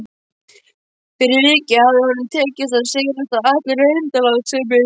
Fyrir vikið hafði honum tekist að sigrast á allri undanlátssemi.